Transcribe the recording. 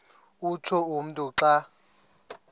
utsho umntu xa